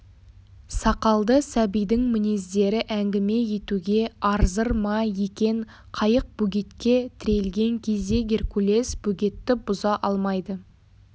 сақалды сәбидің мінездері әңгіме етуге арзыр ма екен қайық бөгетке тірелген кезде геркулес бөгетті бұза алмайды